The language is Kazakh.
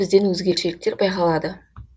бізден өзгешеліктер байқалады